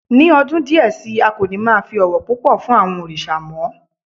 Ní ọdún díẹ̀ sí i, a kò ní máa fi ọ̀wọ̀ púpọ̀ fún àwọn òrìṣà mọ́